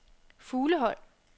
Fuglehøj